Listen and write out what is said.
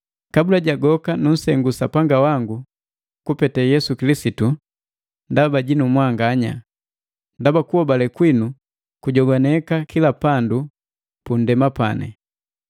Kabula ja goka nunsengu Sapanga wangu kupete Yesu Kilisitu ndaba jinu mwanganya, ndaba kuhobale kwinu kujogwaneka kila pandu pundema pani.